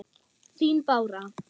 Þín Bára.